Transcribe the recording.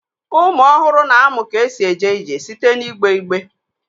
Ụmụ ọhụrụ na-amụ ka esi eje ije site n'igbe igbe